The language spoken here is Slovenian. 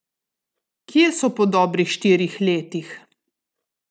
Kje so po dobrih štirih letih?